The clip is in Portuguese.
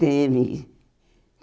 Teve.